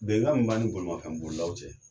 Bɛnkan min b'ani bolifɛnbolilaw cɛ